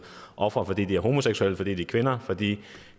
ofre fordi de er homoseksuelle fordi de er kvinder fordi de